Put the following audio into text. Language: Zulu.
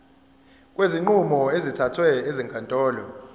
kwezinqumo ezithathwe ezinkantolo